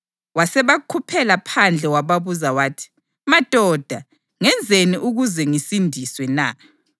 Wasebakhuphela phandle wababuza wathi, “Madoda, ngenzeni ukuze ngisindiswe na?”